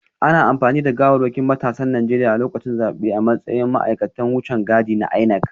Ana amfani da gawarwakin matasan Najeriya lokacin zabe a matsayin ma’aikatan wucin gadi na INEC